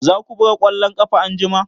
Za ku buga ƙwallon ƙafa anjima?